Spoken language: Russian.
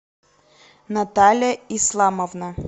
наталья исламовна